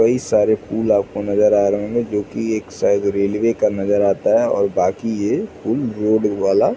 कई सारे फूल आपको नज़र आ रहे होंगे जो कि एक साइड रेलवे का नज़र आता है और बाकी ये फूल रोड वाला --